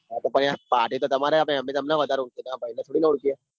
હા તો યાર પાર્ટ તો તમારે આપવાની અમને તમને વધારે ઓળખીએ તામર ભાઈ ને થોડી ન ઓળખીએ.